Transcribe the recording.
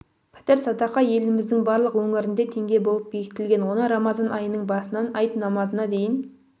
пітір садақа еліміздің барлық өңірінде теңге болып бекітілген оны рамазан айының басынан айт намазына дейін